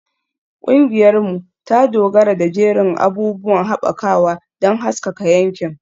Ƙungiyarmu ta dogara da jerin abubuwan haɓakawa don haskaka yankin.